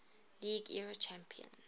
league era champions